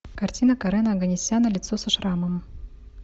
картина карена оганесяна лицо со шрамом